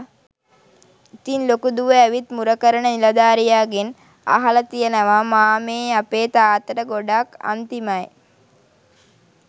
ඉතින් ලොකු දුව ඇවිත් මුර කරන නිලධාරියාගෙන් අහල තියෙනව " මාමෙ අපෙ තාත්තට ගොඩක් අන්තිමයි.